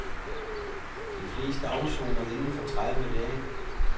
De fleste afsoner inden for tredive dage.